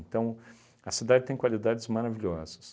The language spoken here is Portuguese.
a cidade tem qualidades maravilhosas.